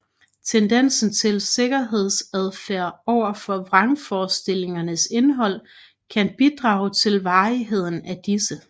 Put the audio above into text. Tendensen til sikkerhedsadfærd overfor vrangforestillingernes indhold kan bidrage til varigheden af disse